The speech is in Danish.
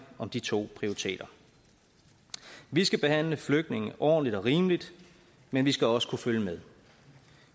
om de to prioriteter vi skal behandle flygtninge ordentligt og rimeligt men vi skal også kunne følge med